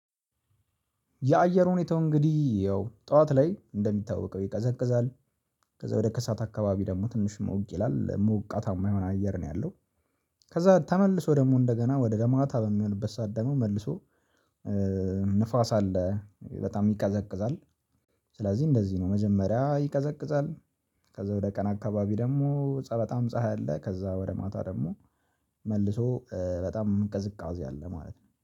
የአየር ሁኔታው እንግዲህ ያው ጠዋት ላይ እንደሚታወቀው ይቀዘቅዛል። ከዛ ወደ ከሳት አካባቢ ደግሞ ትንሽ ሞቅ ይላል ሞቃታማ የሆነ አየር ነው ያለው። ከዛ ተመልሶ ደግሞ እንደገና ወደ ማታ በሚሆንበት ሰዓት ደግሞ መልሶ ንፋስ አለ በጣም ይቀዘቅዛል። ስለዚህ እንደዚህ ነው መጀመሪያ ይቀዘቅዛል። ከዛ ወደ ቀን አካባቢ ደግሞ ፀሀይ በጣም ፀሀይ አለ ከዛ ወደ ማታ ደግሞ መልሶ በጣም ቅዝቃዜ አለ ማለት ነው